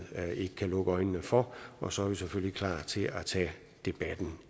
ikke kan lukke øjnene for og så er vi selvfølgelig klar til at tage debatten